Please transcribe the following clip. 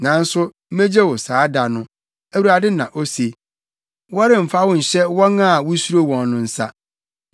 Nanso megye wo saa da no, Awurade na ose; wɔremfa wo nhyɛ wɔn a wusuro wɔn no nsa.